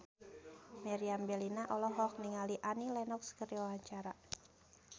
Meriam Bellina olohok ningali Annie Lenox keur diwawancara